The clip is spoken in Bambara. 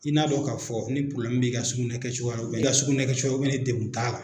I n'a fɔ k 'a fɔ n'i probilɛmu bɛ i ka sugunɛ kɛcogo la, i ka sugunɛ cogoya ni degun t'a la.